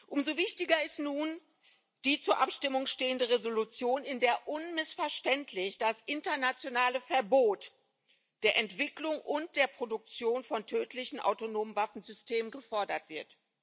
Umso wichtiger ist nun die zur Abstimmung stehende Entschließung, in der unmissverständlich das internationale Verbot der Entwicklung und der Produktion von tödlichen autonomen Waffensystemen gefordert wird.